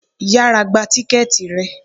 Yára gba tíkẹ́ẹ̀tì rẹ.